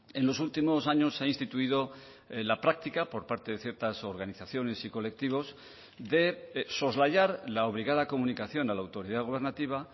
en los últimos años se ha instituido la práctica por parte de ciertas organizaciones y colectivos de soslayar la obligada comunicación a la autoridad gubernativa